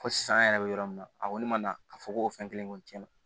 Fo sisan an yɛrɛ bɛ yɔrɔ min na a kɔni ma na ka fɔ ko o fɛn kelen kɔni tiɲɛna